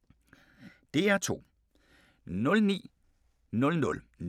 DR2